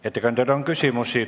Ettekandjale on küsimusi.